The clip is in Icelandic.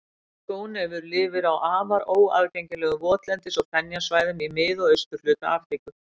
Skónefur lifir á afar óaðgengilegum votlendis- og fenjasvæðum í mið- og austurhluta Afríku.